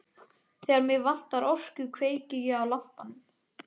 Þegar mig vantar orku kveiki ég á lampanum.